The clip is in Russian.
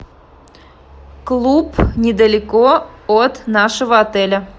клуб недалеко от нашего отеля